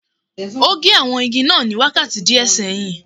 O gé àwọn igi náà ní wákàtí díẹ̀ sẹ́yìn